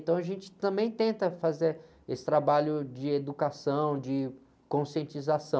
Então a gente também tenta fazer esse trabalho de educação, de conscientização.